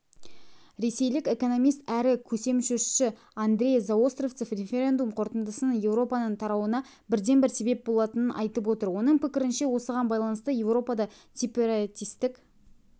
ресейлік экономист әрі көсемсөзші андрей заостровцев референдум қорытындысының еуропаның тарауына бірден-бір себеп болатынын айтып отыр оның пікірінше осыған байланысты еуропада сепаратистік